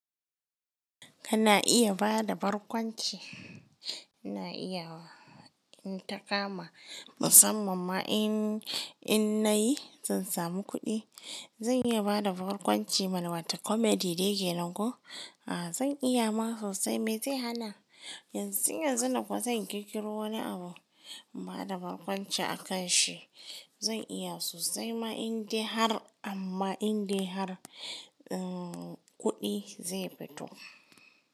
Kana iya bada barkwanci. Na iyawa, in ta kama musamman ma in, in na yi zan samu kuɗi. Zan iya bada barkwanci mana wata comedy dai kenan ko? A'a zan iya ma sosai, me zai hana? Yanzun yanzu nan kuwa sai in kirkiro wani abu, mu hada barkwanci a kan shi. Zan iya sosai ma in de har amma in de har, um, kuɗi zai fito.